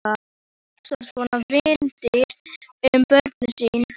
Hvernig hugsar svona vinnudýr um börnin sín?